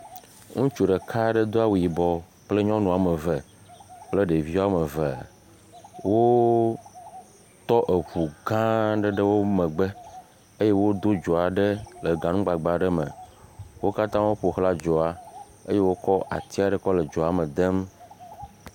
Ŋutsu ɖeka aɖe do awu yibɔ kple nyɔnu woame eve kple ɖevi woame eve, wotɔ eŋu gã aɖe ɖe wo megbe eye wodo dzo aɖe le ganugbagba aɖe me, wo katã woƒo xla dzoa eye wokɔ ati aɖe kɔ le dzoa me dem.